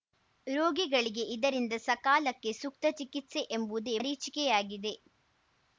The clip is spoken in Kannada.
ರೋಗಿಗಳಿಗೆ ಇದರಿಂದ ಸಕಾಲಕ್ಕೆ ಸೂಕ್ತ ಚಿಕಿತ್ಸೆ ಎಂಬುದೇ ಮರೀಚಿಕೆಯಾಗಿದೆ